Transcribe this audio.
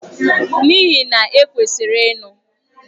N'ihi na! E kwesịrị ịnụ.